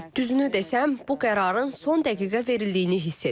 Düzünü desəm, bu qərarın son dəqiqə verildiyini hiss edirəm.